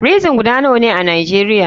Frison guda nawane a nijeria?